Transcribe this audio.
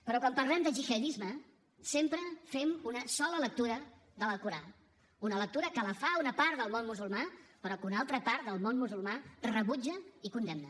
però quan parlem de gihadisme sempre fem una sola lectura de l’alcorà una lectura que la fa una part del món musulmà però que una altra part del món musulmà rebutja i condemna